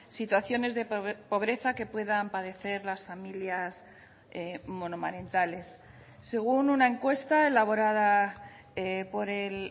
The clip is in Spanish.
situaciones de pobreza que puedan padecer las familias monomarentales según una encuesta elaborada por el